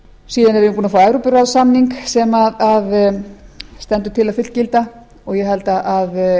síðan erum við búin að fá evrópuráðssamning sem stendur til að fullgilda og ég held að